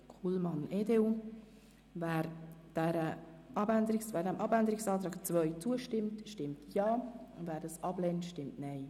Wer dem Abänderungsantrag 2 zustimmt, stimmt Ja, wer diesen ablehnt, stimmt Nein.